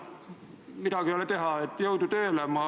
Midagi ei ole teha, jõudu tööle!